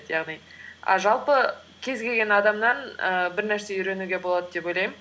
яғни а жалпы кез келген адамнан і бір нәрсе үйренуге болады деп ойлаймын